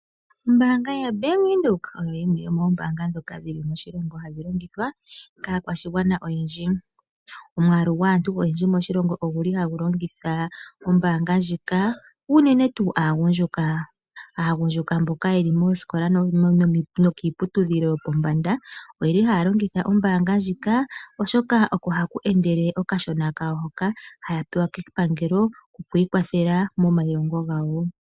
Ombaanga yo Bank Windhoek oyo yimwe yomoombaanga ndhoka hadhi longithwa kaakwashigwana oyendji. Omwaalu gwaantu oyendji moshilongo oguli ha gu longitha ombaanga ndjika, unene tuu aagundjuka. Aagundjuka mboka ye li moosikola, nokiiputudhilo yopombanda oye li haya longitha ombaanga ndjika oshoka oko ku li ha ku endele okashona kawo hoka haya pewa kepangelo, kokwii kwathela momailongo gawo